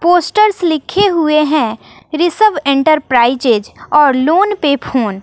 posters लिखे हुए हैं ऋषभ एंटरप्राइजेज और लोन पे फोन --